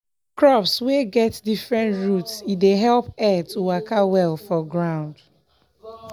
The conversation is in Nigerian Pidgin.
crops wey get different root e dey help air to waka well for ground.